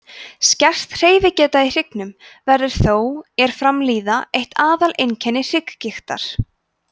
skert hreyfigeta í hryggnum verður þó er fram líður eitt aðal einkenni hrygggigtar